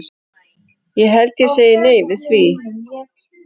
Ég held ég segi nei við því.